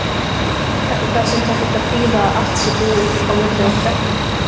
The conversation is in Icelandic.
Þetta þarf samt ekkert að þýða að allt sé búið á milli okkar.